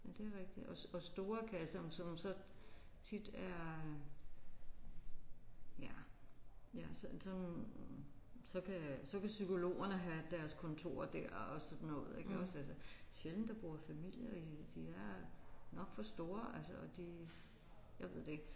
Ja det er rigtigt og og store kasser som så tit er ja ja som som så kan så kan psykologerne have deres kontorer der og sådan noget ik altså. Det er sjældent der bor familier i de er nok for store altså og de jeg ved ikke